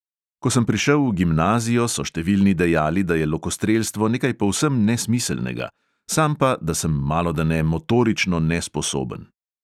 Ko sem prišel v gimnazijo, so številni dejali, da je lokostrelstvo nekaj povsem nesmiselnega, sam pa, da sem malodane motorično nesposoben.